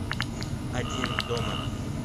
один дома